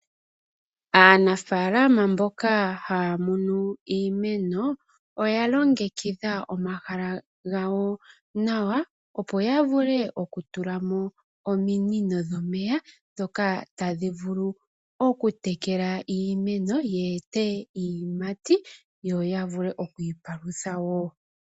Aanafalama mboka haya munu iimeno oya longekidha omahala gawo nawa opo yavule oku tula mo ominino dhomeya. Dhoka tadhi vulu oku tekela iimeno ye ete iiyimati, yo yavule oku ipalutha wo.